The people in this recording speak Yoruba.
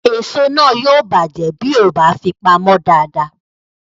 Èso náà yóò bàjẹ́ bí o kò bá fi pamọ́ dáadáa